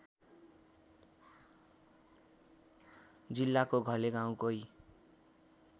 जिल्लाको घले गाउँकै